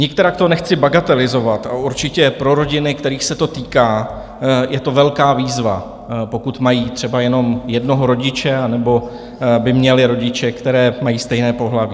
Nikterak to nechci bagatelizovat a určitě pro rodiny, kterých se to týká, je to velká výzva, pokud mají třeba jenom jednoho rodiče anebo by měly rodiče, které mají stejné pohlaví.